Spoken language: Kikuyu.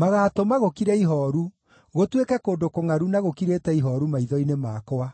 Magaatũma gũkire ihooru, gũtuĩke kũndũ kũngʼaru na gũkirĩte ihooru maitho-inĩ makwa;